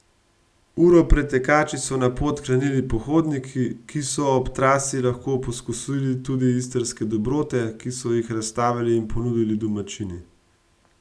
Uro pred tekači so na pot krenili pohodniki, ki so ob trasi lahko poskusili tudi istrske dobrote, ki so jih razstavili in ponudili domačini.